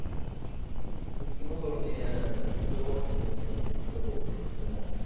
дудкин уровне постирония и тому подобного